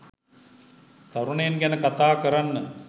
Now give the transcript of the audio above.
තරුණයන් ගැන කතා කරන්න